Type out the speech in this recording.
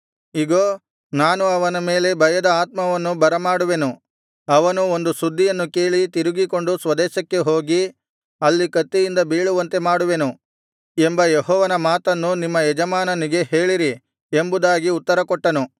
ಇಗೋ ನಾನು ಅವನ ಮೇಲೆ ಭಯದ ಆತ್ಮವನ್ನು ಬರ ಮಾಡುವೆನು ಅವನು ಒಂದು ಸುದ್ದಿಯನ್ನು ಕೇಳಿ ತಿರುಗಿಕೊಂಡು ಸ್ವದೇಶಕ್ಕೆ ಹೋಗಿ ಅಲ್ಲಿ ಕತ್ತಿಯಿಂದ ಬೀಳುವಂತೆ ಮಾಡುವೆನು ಎಂಬ ಯೆಹೋವನ ಮಾತನ್ನು ನಿಮ್ಮ ಯಜಮಾನನಿಗೆ ಹೇಳಿರಿ ಎಂಬುದಾಗಿ ಉತ್ತರಕೊಟ್ಟನು